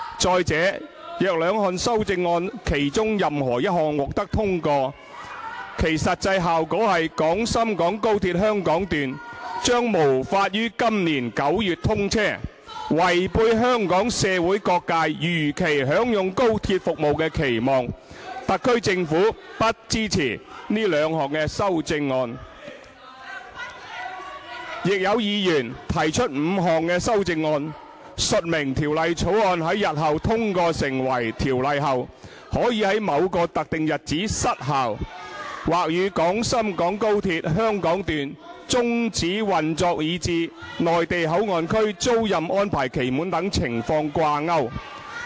再者，若兩項修正案其中任何一項獲得通過，其實際效果是廣深港高鐵香港段將無法於今年9月通車，違背香港社會各界如期享用高鐵服務的期望。特區政府不支持這兩項修正案。亦有議員提出5項修正案，述明《條例草案》在日後通過成為條例後，可以於某個特定日子失效，或與廣深港高鐵香港段終止運作以至內地口岸區租賃安排期滿等情況掛鈎。